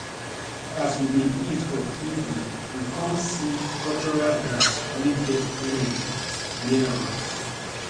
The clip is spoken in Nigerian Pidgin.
as we dey eat for evening we con see cultural dance wey get energy near us